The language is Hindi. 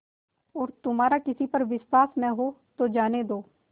और तुम्हारा किसी पर विश्वास न हो तो जाने दो